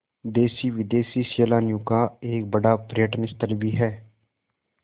देशी विदेशी सैलानियों का एक बड़ा पर्यटन स्थल भी है